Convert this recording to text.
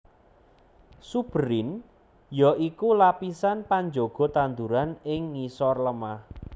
Suberin ya iku lapisan panjaga tanduran ing ngisor lemah